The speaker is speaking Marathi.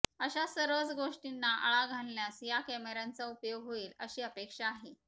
अशा सर्वच गोष्टींना आळा घालण्यास या कॅमेऱ्यांचा उपयोग होईल अशी अपेक्षा आहे